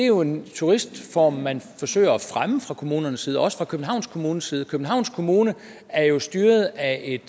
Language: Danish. jo er en turismeform man fra kommunernes side også fra københavns kommunes side københavns kommune er jo styret af et